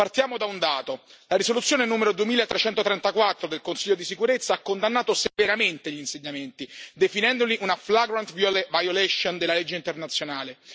Partiamo da un dato la risoluzione numero 2334 del Consiglio di sicurezza ha condannato severamente gli insediamenti, definendoli una flagrant violation della legge internazionale.